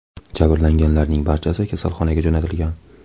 Jabrlanganlarning barchasi kasalxonaga jo‘natilgan.